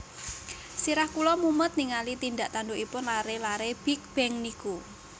Sirah kula mumet ningali tindak tandukipun lare lare Big Bang niku